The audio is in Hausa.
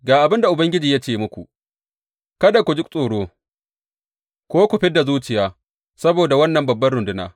Ga abin da Ubangiji ya ce muku, Kada ku ji tsoro ko ku fid da zuciya saboda wannan babbar runduna.